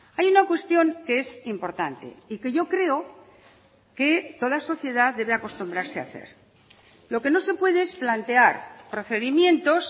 hay una cuestión que es importante y que yo creo que toda sociedad debe acostumbrarse a hacer lo que no se puede es plantear procedimientos